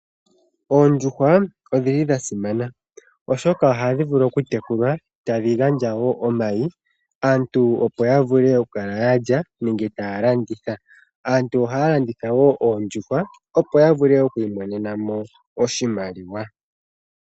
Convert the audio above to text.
Oondjuhwa odhili dha simana. Oshoka ohadhi vulu okutekulwa tadhi gandja wo omayi. Aantu opo ya vule okukala lya ya landitha aantu ohaya landitha woo oondjuhwa opo ya vule oku imonena mo oshimaliwa.